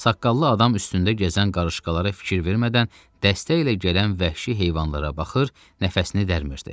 Saqqallı adam üstündə gəzən qarışqalara fikir vermədən dəstəylə gələn vəhşi heyvanlara baxır, nəfəsini dərmirdi.